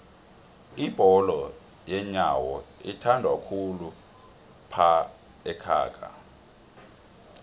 ibholo yenyowo ithandwakhulu laphaekhaga